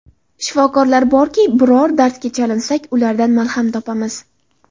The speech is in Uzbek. Shifokorlar borki, biror dardga chalinsak, ulardan malham topamiz.